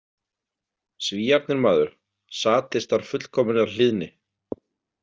Svíarnir, maður, sadistar fullkominnar hlýðni.